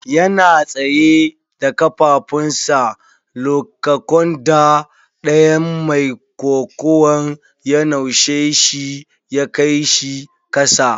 Yana tsaye da kafafun sa lokaconda ɗayan mai kokuwan ya naushe shi ya kai shi kasa.